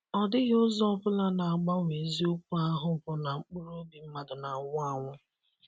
Ọdịghị ụzọ ọ bụla na-agbanwe eziokwu ahụ bụ na mkpụrụ obi mmadụ na-anwụ anwụ.